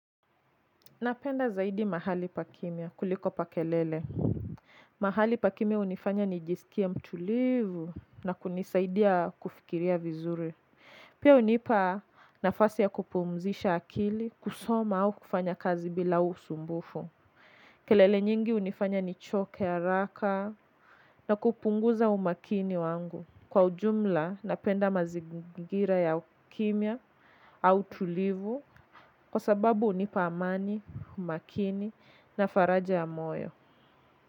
Napenda zaidi mahali pa kimia kuliko pa kelele. Mahali pa kimia hunifanya nijisikie mtulivu na kunisaidia kufikiria vizuri. Pia hunipa nafasi ya kupumzisha akili kusoma au kufanya kazi bila usumbufu. Kelele nyingi hunifanya nichoke haraka na kupunguza umakini wangu. Kwa ujumla napenda mazingira ya kimia au tulivu. Kwa sababu hunipa amani, umakini na faraja ya moyo.